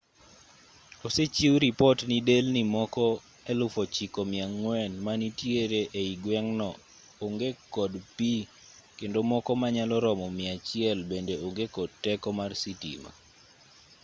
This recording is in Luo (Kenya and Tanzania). osechiw ripot ni delni moko 9400 manitiere ei gweng'no onge kod pi kendo moko manyalo romo 100 bende onge kod teko mar sitima